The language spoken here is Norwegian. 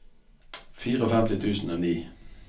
femtifire tusen og ni